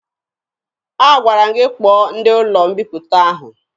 Agwara m gị kpọọ ndị ụlọ mbiputa ahụ!